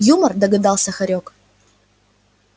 юмор догадался хорёк